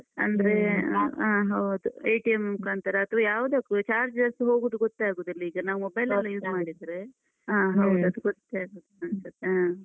ಹೌದು ಮುಖಾಂತರ ಅಥ್ವ ಯಾವ್ದಕ್ಕೂ charges ಹೋಗುದು ಗೊತ್ತೇ ಆಗುದಿಲ್ಲ. ಈಗ ನಾವ್ mobile ಅಲ್ಲ use ಮಾಡಿದ್ರೆ. ಆ ಹೌದು ಅದ್ ಗೊತ್ತೇ ಆಗುದಿಲ್ಲ ಅನ್ಸತ್ತೆ ಆ.